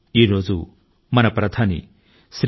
ఈ రోజు మన మాజీ ప్రధాని శ్రీ పి